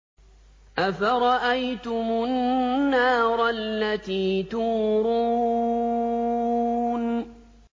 أَفَرَأَيْتُمُ النَّارَ الَّتِي تُورُونَ